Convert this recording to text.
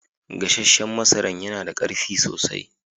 Gassanshen masaran ya na da karfi sosai.